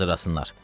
Hazırlasınlar.